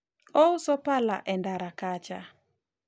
ouso pale e ndara kacha